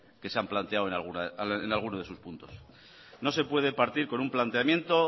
que se han planteado en algunos de sus puntos no se puede partir con un planteamiento